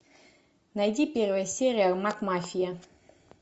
найди первая серия макмафия